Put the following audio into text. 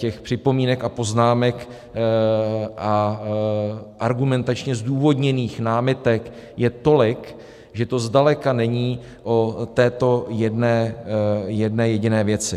Těch připomínek a poznámek a argumentačně zdůvodněných námitek je tolik, že to zdaleka není o této jedné jediné věci.